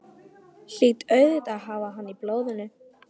Hlýt auðvitað að hafa hann í blóðinu.